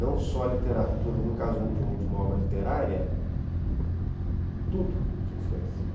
Não só literatura, no caso de um de um de uma obra literária, tudo te influencia.